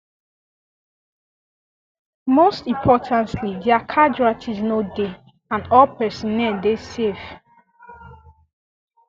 most importantly dia casualties no dey and all personnel dey safe